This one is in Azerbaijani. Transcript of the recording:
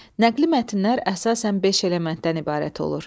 Nəqli mətnlər əsasən beş elementdən ibarət olur.